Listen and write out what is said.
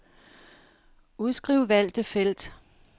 Udskriv valgte felt.